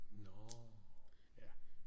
Nå ja